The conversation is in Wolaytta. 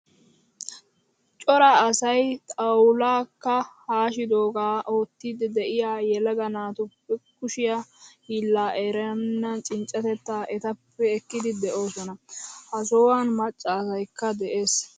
Cora asay xawulka hashshidoga oottidi de'iyaa yelaga naatuppe kushshe hiilaa eranne cinccatetta ettappe ekkidi de'oosona. Ha sohuwan macca asaykka de'ees.